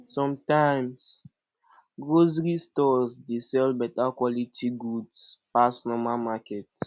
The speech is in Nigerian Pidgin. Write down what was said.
sometimes grocery stores dey sell beta quality goods pass normal market